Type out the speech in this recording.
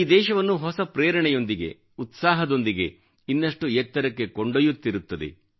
ಈ ದೇಶವನ್ನು ಹೊಸ ಪ್ರೇರಣೆಯೊಂದಿಗೆ ಉತ್ಸಾಹದೊಂದಿಗೆ ಇನ್ನಷ್ಟು ಎತ್ತರಕ್ಕೆ ಕೊಂಡೊಯ್ಯುತ್ತಿರುತ್ತದೆ